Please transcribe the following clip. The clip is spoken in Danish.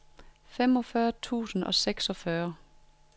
femogfyrre tusind og seksogfyrre